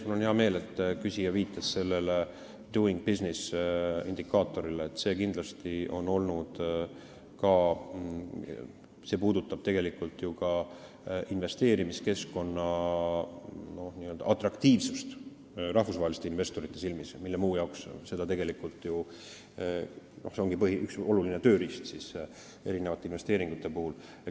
Mul on hea meel, et küsija viitas "Doing Businessi" indikaatorile, see puudutab ju ka investeerimiskeskkonna atraktiivsust rahvusvaheliste investorite silmis, see on üks olulisi tööriistu erinevate investeeringute puhul.